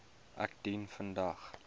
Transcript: ek dien vandag